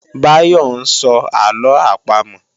Báyọ́ ń sọ àlọ àpamọ̀